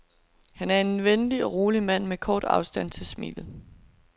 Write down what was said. Han er en venlig og rolig mand med kort afstand til smilet.